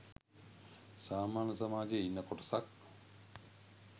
සාමාන්‍ය සමාජයේ ඉන්න කොටසක්.